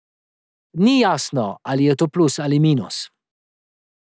Ni jasno, ali je to plus ali minus.